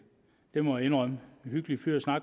må jeg indrømme men